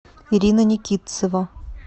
ирина никитцева